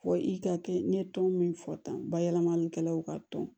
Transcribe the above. Fɔ i ka kɛ n ye tɔn min fɔ tan bayɛlɛmalikɛlaw ka tɔn